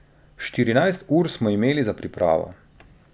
Štirinajst ur smo imeli za pripravo.